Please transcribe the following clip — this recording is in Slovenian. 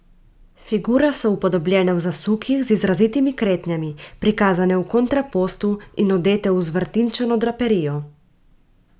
Figure so upodobljene v zasukih z izrazitimi kretnjami, prikazane v kontrapostu in odete v zvrtinčeno draperijo.